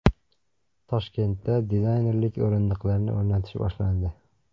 Toshkentda dizaynerlik o‘rindiqlarini o‘rnatish boshlandi.